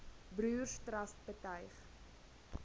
broers trust betuig